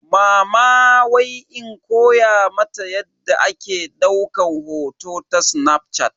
Mama wai in koya mata yadda ake daukan hoto ta snafshat.